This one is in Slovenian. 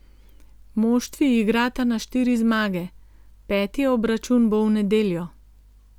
Moštvi igrata na štiri zmage, peti obračun bo v nedeljo.